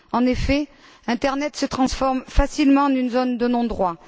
En effet, Internet se transforme facilement en une zone de non droit.